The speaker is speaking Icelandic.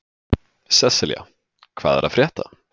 Sesselja, hvað er að frétta?